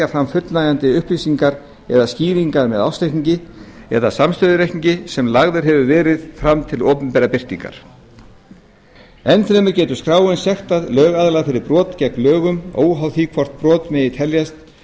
fram fullnægjandi upplýsingar eða skýringar með ársreikningi eða samstæðureikningi sem lagður hefur verið fram til opinberrar birtingar enn fremur getur skráin sektað lögaðila fyrir brot gegn lögunum óháð því hvort brot